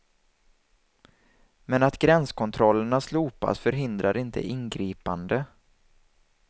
Men att gränskontrollerna slopas, förhindrar inte ingripande.